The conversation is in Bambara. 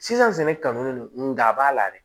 Sisan sɛnɛ kanu don nga a b'a la dɛ